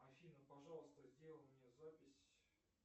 афина пожалуйста сделай мне запись